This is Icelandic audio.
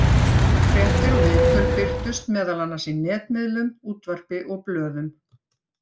Fréttir og viðtöl birtust meðal annars í netmiðlum, útvarpi og blöðum.